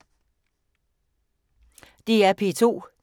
DR P2